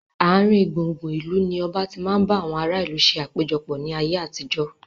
Aarin gbùngbùn ìlú ni ọba tí máa ń bá àwọn ará ìlú ṣe àpéjọpọ̀ ni ayé àtijọ́